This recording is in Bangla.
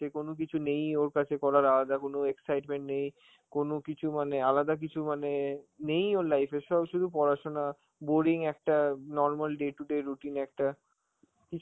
কোনো কিছু নেই ওর কাছে করার, আলাদা কোন excitement নেই, কোন কিছু মানে আলাদা কিছু মানে নেই ওর life এ, সব শুধু পড়াশোনা, boring একটা normal day to day routine একটা, কিছু